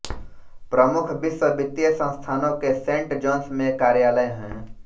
प्रमुख विश्व वित्तीय संस्थानों के सेंट जॉन्स में कार्यालय हैं